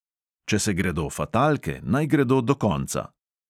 Če se gredo fatalke, naj gredo do konca!